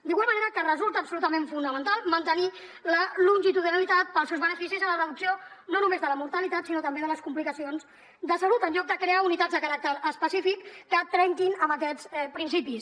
d’igual manera que resulta absolutament fonamental mantenir la longitudinalitat pels seus beneficis en la reducció no només de la mortalitat sinó també de les complicacions de salut en lloc de crear unitats de caràcter específic que trenquin amb aquests principis